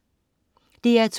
DR2: